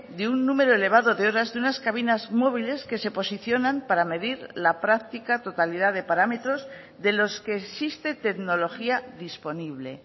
de un número elevado de horas de unas cabinas móviles que se posicionan para medir la práctica totalidad de parámetros de los que existe tecnología disponible